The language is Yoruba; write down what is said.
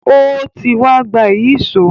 Ó ti wa gba Ìyíṣòó